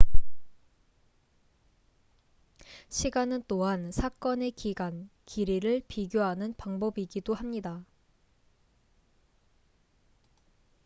시간은 또한 사건의 기간길이을 비교하는 방법이기도 합니다